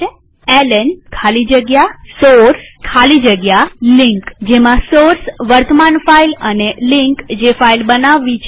LN ખાલી જગ્યા source ખાલી જગ્યા લિંક જેમાં સોર્સ વર્તમાન ફાઈલ અને લિંક જે ફાઈલ બનાવવી છે તે છે